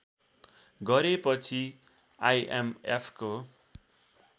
गरेपछि आइएमएफको